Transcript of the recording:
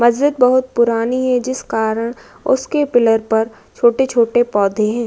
मस्जिद बहुत पुरानी है। जिस कारण उसके पिलर पर छोटे-छोटे पौधे हैं।